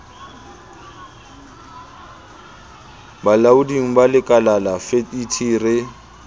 bolaoding ba lekalala fet re